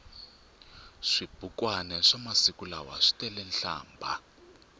swibukwani swamasiku lawa switelenhlambha